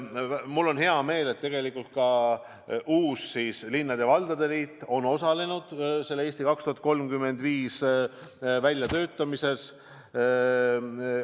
Mul on hea meel, et ka uus linnade ja valdade liit on osalenud "Eesti 2035" väljatöötamises.